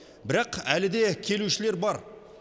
бірақ әлі де келушілер бар